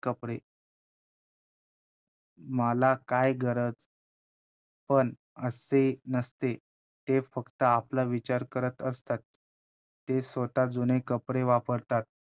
कपडे मला काय गरज पण असे नसते, ते फक्त आपला विचार करत असतात ते स्वतः जुने कपडे वापरतात,